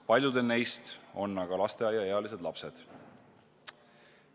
Paljudel neist on aga lasteaiaealised lapsed.